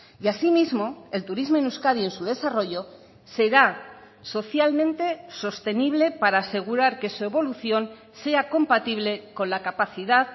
y asimismo el turismo en euskadi en su desarrollo será socialmente sostenible para asegurar que su evolución sea compatible con la capacidad